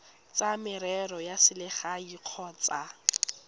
tsa merero ya selegae kgotsa